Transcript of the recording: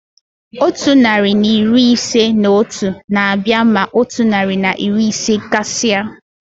Otu narị na iri ise na otu na-abịa ma otu narị na iri ise gasia.